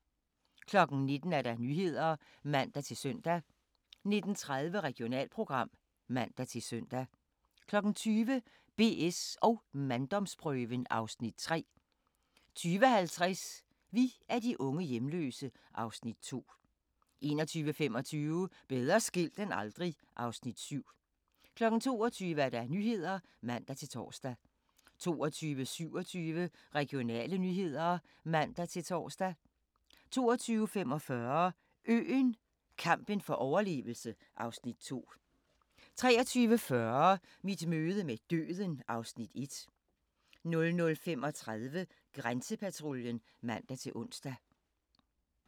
19:00: Nyhederne (man-søn) 19:30: Regionalprogram (man-søn) 20:00: BS & manddomsprøven (Afs. 3) 20:50: Vi er de unge hjemløse (Afs. 2) 21:25: Bedre skilt end aldrig (Afs. 7) 22:00: Nyhederne (man-tor) 22:27: Regionale nyheder (man-tor) 22:45: Øen - kampen for overlevelse (Afs. 2) 23:40: Mit møde med døden (Afs. 1) 00:35: Grænsepatruljen (man-ons)